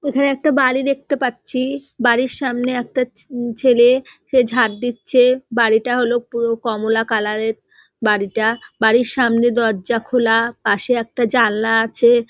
এখানে একটা বাড়ি দেখতে পাচ্ছি বাড়ির সামনে একটা উ ছেলে সে ঝাট দিচ্ছে বাড়িটা হল পুরো কমলা কালার -এর বাড়িটা বাড়ির সামনে দরজা খোলা পাশে একটা জানলা আছে।